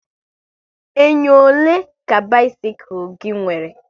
Enyo ole ka bisikul gị nwere?